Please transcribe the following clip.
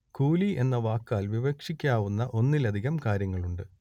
കൂലി എന്ന വാക്കാൽ വിവക്ഷിക്കാവുന്ന ഒന്നിലധികം കാര്യങ്ങളുണ്ട്